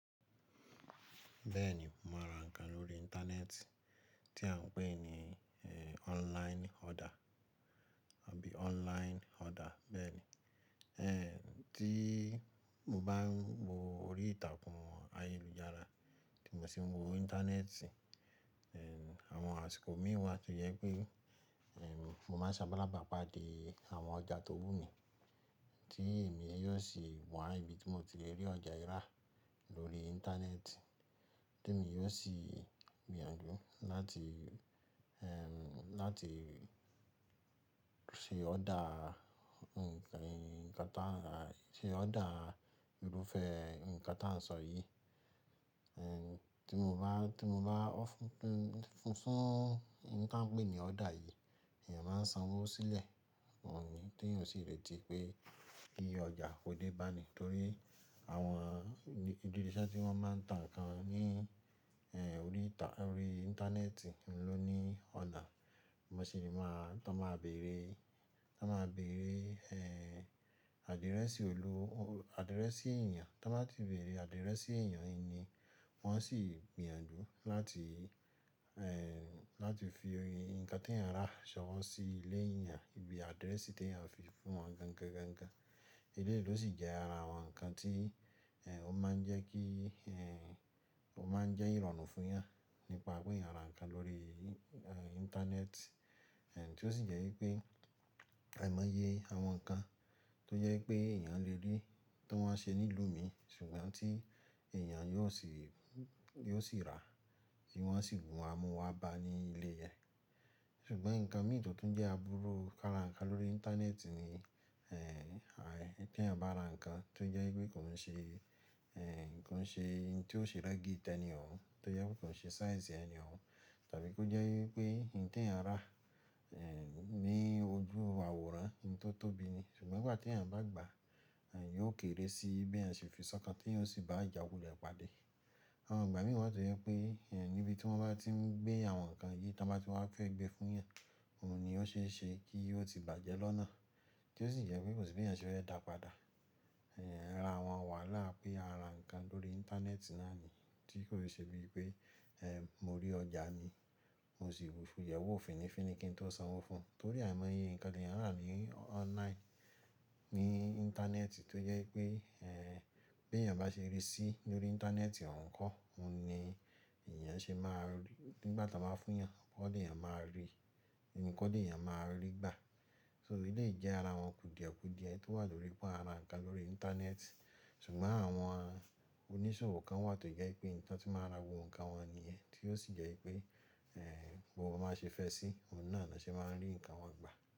Bẹ́ẹ̀ ni mo maa ra ǹkan lórí Íńtánẹ́ẹ̀tì tí à ń pè ní online order, àbí online order bẹ́ẹ̀ ni. Ẹ̀ tí mo bá ń wo orí ìtàkùn ayélujára tí mo sì ń wo Íńtánẹ́ẹ̀tì, ẹ̀ àwọn àsìkò mí wà tó jẹ pé ẹ̀ mo máa sábàlábà pàdé àwọn ọjà tó wù mí, tí èmi yóò sì wà ní ibi tí mo ti lè rí ọjà yí rà lórí Íńtánẹ́ẹ̀tì. Tí èmi yóò sì gbìyànjú láti ẹ̀ láti ṣe order ǹkan ǹkan náà rà, ṣe order irúfẹ́ ǹkan tí à ń sọ yìí. Ẹ̀ tí mo bá tí mo bá ọ́ fún fún fún ǹkan pé ní order yìí, èèyàn máa sanwó sílẹ̀, òun ni tí òun sì leè ti pé kí ọjà kó dé bá a ni. Nítorí àwọn ìbí iṣẹ́ tí wọ́n máa ń tà nǹkan ní ẹ̀ orí ìtà orí Íńtánẹ́ẹ̀tì ló ní ona, bi mo sì máa tọ máa bèèrè tọ máa bèèrè ẹ̀ àdírẹ́sì olú àdírẹ́sì èèyàn. Ti wọn báa ti bèèrè àdírẹ́sì èèyàn yii ni, wọ́n sì gbìyànjú láti ẹ̀ láti fi ǹkan tí ẹ̀eyan rà se owọ́ sí ilé èèyàn ibi àdírẹ́sì tí ẹ̀eyan à fi fún wọn gan-gan-gan-gan. Eléyìí ló sì jẹ́ ara àwọn ǹkan tí ẹ̀ ó máa ń jẹ́ kí ẹ̀ ó máa ń jẹ́ ìrọ̀rùn fún ẹ̀eyan à nípa pé ẹ̀eyan à ra ǹkan lórí Íńtánẹ́ẹ̀tì. Ẹ̀ tí ó sì jẹ́ wípé àìmọye àwọn ǹkan tó jẹ́ pé èèyàn lè rí tí wọ́n ṣe nílùú mi ṣùgbọ́n tí èèyàn yóò sì yóò sì rà tí wọ́n sì mu wá mú wá bá a ní ilé yẹn. Ṣùgbọ́n ǹkan mí to tun tó ń jẹ́ abúrú kára ǹkan lórí Íńtánẹ́ẹ̀tì ni ẹ̀ tí ẹ̀eyan bá ra ǹkan tó jẹ́ wípé kò ń ṣe ẹ̀ kò ń ṣe itin tí ó ṣe rẹ́gì tẹni òun, tó jẹ́ wípé kò ń ṣe size ẹni òun, tàbí kó jẹ́ wípé itin tí ẹ̀eyan à ń rà ẹ̀ ní ojú àwòrán ni tó tóbi ni ṣùgbọ́n ìgbà tí ẹ̀eyan bá gbà a, ẹ̀ à yóò kiri sí bi eeyan se fi sọ́kàn tí yóò sì bá a ìjàkulẹ̀ padà. Àwọn ìgbà mí wà tó jẹ́ pé ẹ̀ níbi tí wọ́n bá tí ń gbé àwọn ǹkan yìí tí wọ́n bá ti wá fẹ́ gbé fún ẹ̀eyan à, òun ni ó ṣe é ṣe kí ó ti bàjẹ́ lọ́nà tí ó sì jẹ́ wípé kò sì bi ẹ̀eyan ṣe fẹ́ dàpadà. Ẹ̀ ara àwọn wàhálà pé a ra ǹkan lórí Íńtánẹ́ẹ̀tì náà ni tí kò ṣe bíi pé ẹ̀ mo rí ọjà mi, mo sì bu fún yẹ̀wò fínnífínní kí n tó sanwó fún un. Nítorí àìmọye ǹkan tí ẹ̀eyan à ń rà ní online ní Íńtánẹ́ẹ̀tì tó jẹ́ wípé ẹ̀ bí èèyàn bá ṣe ríi sí lórí Íńtánẹ́ẹ̀tì òun kọ́, òun ni èèyàn ṣe máa rí nígbà tí wọ́n báa fún ẹ̀eyan, kọ́ ni ẹ̀eyan máa ríi, nìkan ni ẹ̀eyan à máa ríi gbà. So eléyìí jẹ́ ara àwọn kùdìẹ̀kùdìẹ tó wà lórí pe ara ǹkan lórí Íńtánẹ́ẹ̀tì. Ṣùgbọ́n àwọn oníṣòwò kan wà tó jẹ́ pé ibi ti wọ́n ti máa ra gbogbo ǹkan wọn ní yẹn tí ó sì jẹ́ wípé ẹ̀ bi wọ́n bá ṣe fẹ́ sí, òun náà ni won ṣe máa rí ǹkan wọn gbà.